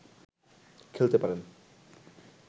খেলতে পারেন